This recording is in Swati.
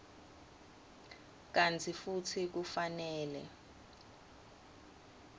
kantsi futsi kufanele